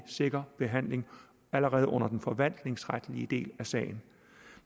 sikker behandling allerede under den forvaltningsretlige del af sagen